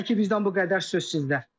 Hələ ki, bizdən bu qədər, söz sizdə.